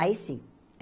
Aí sim.